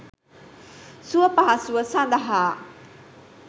සුවපහසුව සඳහා